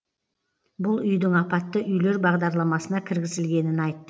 бұл үйдің апатты үйлер бағдарламасына кіргізілгенін айт